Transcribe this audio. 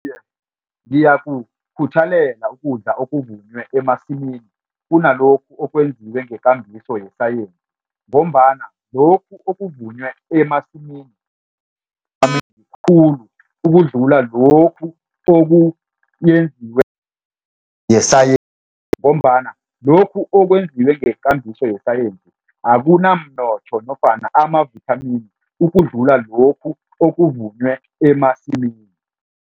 Ngiyakukhuthalela ukudla okuvunwe emasimini kunalokhu okwenziwe ngekambiso yesayensi ngombana lokhu okuvunwe emasimini, khulu ukudlula lokhu okoyenziwe ngesayensi. Ngombana lokhu okwenziwe ngekambiso yesayensi akunamnotho nofana amavithamini ukudlula lokhu okuvunwe emasimini.